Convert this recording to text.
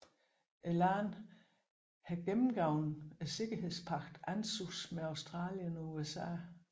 Landet har indgået sikkerhedspagten ANZUS med Australien og USA